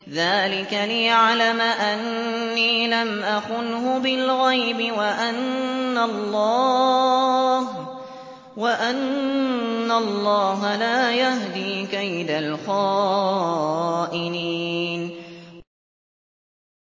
ذَٰلِكَ لِيَعْلَمَ أَنِّي لَمْ أَخُنْهُ بِالْغَيْبِ وَأَنَّ اللَّهَ لَا يَهْدِي كَيْدَ الْخَائِنِينَ